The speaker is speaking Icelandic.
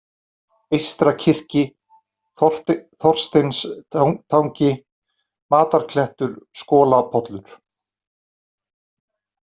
Eystra-Kyrki, Þorsteinstangi, Matarklettur, Skolapollur